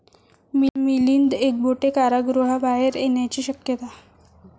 मिलिंद एकबोटे कारागृहाबाहेर येण्याची शक्यता